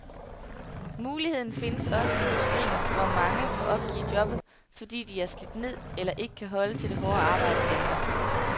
Muligheden findes også i industrien, hvor mange må opgive jobbet, fordi de er slidt ned eller ikke kan holde til det hårde arbejde længere.